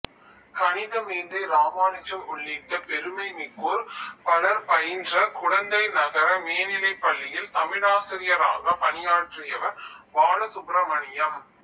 கணிதமேதை இராமானுஜம் உள்ளிட்ட பெருமை மிக்கோர் பலர் பயின்ற குடந்தை நகர மேனிலைப் பள்ளியி்ல் தமிழாசிரியராகப் பணியாற்றியவர் பாலசுப்பிரமணியம்